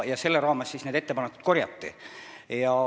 Selle raames need ettepanekud korjati.